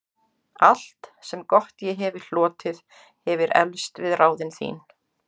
Allt, sem gott ég hefi hlotið, hefir eflst við ráðin þín.